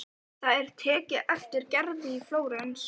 Það er tekið eftir Gerði í Flórens.